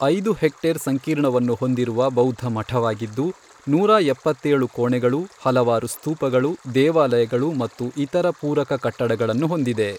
ಐದು ಹೆಕ್ಟೇರ್ ಸಂಕೀರ್ಣವನ್ನು ಹೊಂದಿರುವ ಬೌದ್ಧ ಮಠವಾಗಿದ್ದು, ನೂರಾ ಎಪ್ಪತ್ತೇಳು ಕೋಣೆಗಳು, ಹಲವಾರು ಸ್ತೂಪಗಳು, ದೇವಾಲಯಗಳು ಮತ್ತು ಇತರ ಪೂರಕ ಕಟ್ಟಡಗಳನ್ನು ಹೊಂದಿದೆ.